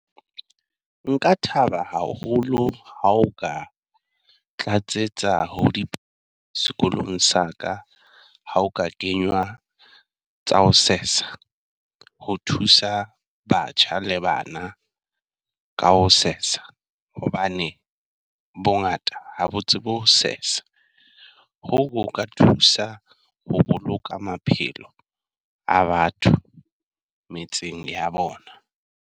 Nka thaba haholo ha o ka tlatsetsa sekolong sa ka ha o ka kenywa tsa ho sesa. Ho thusa batjha le bana ka ho sesa, hobane bongata ha botse bo sesa, hoo ho ka thusa ho boloka maphelo a batho metseng ya bona.